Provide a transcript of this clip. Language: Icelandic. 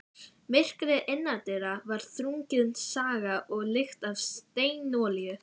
Myrkrið innandyra var þrungið sagga og lykt af steinolíu.